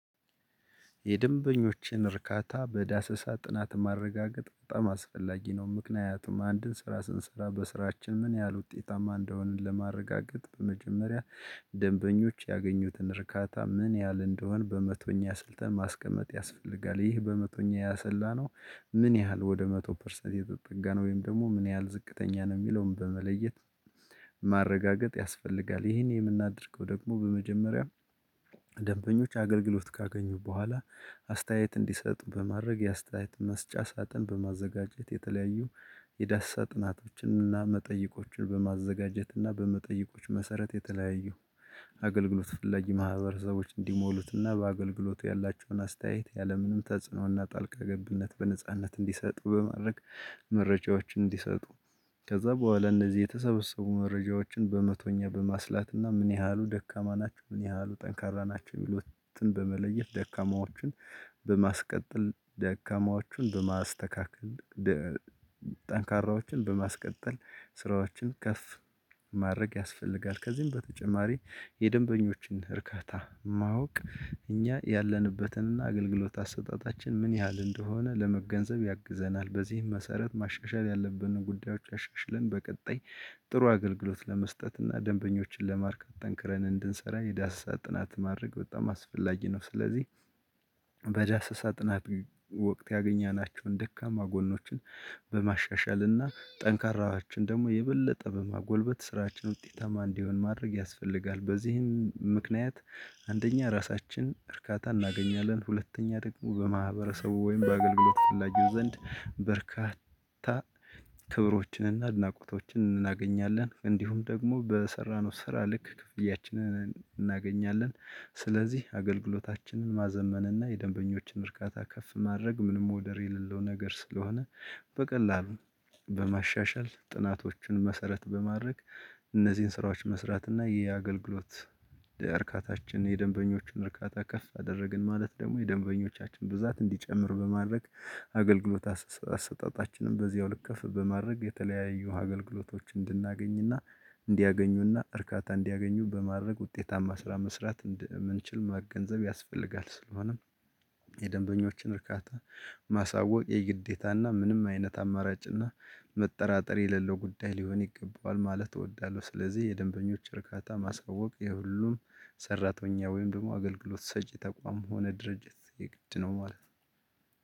የደንበኞችን እርካታ በዳሰሳ ጥናት ማረጋገጥ በጣም አስፈላጊ ነው። ምክንያቱም አንድን ስራ ስንሰራ በስራችን ምን ያህል ውጤታማ እንደሆንን ለማረጋገጥ በመጀመሪያ ደንበኞች ያገኙትን እርካታ ምን ያህል እንደሆነ በመቶኛ አስልተን ማስቀመጥ ያስፈልጋል ይህ በመቶኛ ያሰላነው ምን ያህል ወደ መቶ ፐርሰንት የተጠጋ ነው ወይም ደግሞ ምን ያህል ዝቅተኛ ነው የሚለውን በመለየት ማረጋገጥ ያስፈልጋል። ይሄን የምናደርገው ደግሞ በመጀመሪያ ደንበኞች አገልግሎት ካገኙ በኋላ አስተያየት እንዲሰጥ በማድረግ የአስተያየት መስጫ ሳጥን በማዘጋጀት የተለያዩ የዳሰሳ ጥናቶችንና መጠይቆችን በማዘጋጀትና በመጠይቆች መሰረት የተለያዩ አገልግሎት ፈላጊ ማህበረሰቦች እንዲሞሉትና በአገልግሎቱ ያላቸውን አስተያየት ያለምንም ተጽዕኖና ጣልቃ ገብነት በነጻነት እንዲሰጡ በማድረግ መረጃዎችን እንዲሰጡ ከዛ በኋላ እነዚህ የተሰበሰቡ መረጃዎችን በመቶኛ በማስላትና ምን ያህሉ ደካማ ናቸው ምን ያህሉ ጠንካራ ናቸው ሚሉትን በመለየት ደካማዎችን በማስቀጠል ደካማዎችን በማስተካከል ጠንካራዎችን በማስቀጠል ስራዎችን ከፍ ማድረግ ያስፈልጋል። ከዚህም በተጨማሪ የደንበኞችን እርካታ ማወቅ እኛ ያለንበትንና አገልግሎት አሰጣጣችን ምን ያህል እንደሆነ ለመገንዘብ ያግዘናል በዚህም መሰረት ማሻሻል ያለብንን ጉዳዮች አሻሽልን በቀጣይ ጥሩ አገልግሎት ለመስጠት እና ደንበኞችን ለማርካት ጠንክረን እንድንሰራ የዳሰሳ ጥናት ማድረግ በጣም አስፈላጊ ነው። ስለዚህ በዳሰሳ ጥናት ወቅት ያገኘናቸውን ደካማ ጎኖችን በማሻሻልና ጠንካራዎችን ደግሞ የበለጠ በማጎልበት ስራችን ውጤታማ እንዲሆን ማድረግ ያስፈልጋል። በዚህም ምክንያት አንደኛ ራሳችን እርካታ እናገኛለን ሁለተኛ ደግሞ በማህበረሰቡ ወይም በአገልግሎት ፈላጊው ዘንድ በርካታ ክብሮችንና አድናቆቶችን እናገኛለን እንዲሁም ደግሞ በሰራነው ስራ ልክ ክፍያችንን እናገኛለን። ስለዚህ አገልግሎታችንን ማዘመን እና የደንበኞችን እርካታ ከፍ ማድረግ ምንም ወደር የሌለው ነገር ስለሆነ በቀላሉ በማሻሻል ጥናቶችን መሰረት በማድረግ እነዚህን ስራዎች መስራት እና የአገልግሎት እርካታችን የደንበኞችን እርካታ ከፍ አደረግን ማለት ደግሞ የደንበኞቻችን ብዛት እንዲጨምር በማድረግ አገልግሎት አሰጣጣችንን በዚያው ልክ ከፍ በማድረግ የተለያዩ አገልግሎቶች እንድናገኝና እንዲያገኙና እርካታ እንዲያገኙ በማድረግ ውጤታማ ስራ መስራት እንደምንችል መገንዘብ ያስፈልጋል። ስለሆነም የደንበኞችን እርካታ ማሳወቅ የግዴታና ምንም አይነት አማራጭና መጠራጠር የሌለው ጉዳይ ሊሆን ይገባዋል ማለት እወዳለሁ። ስለዚህ የደንበኞች እርካታ ማሳወቅ የሁሉም ሰራተኛ ወይም ደግሞ አገልገሎት ሰጪ ተቋም ሆነ ድርጅት የግድ ነው ማለት ነው።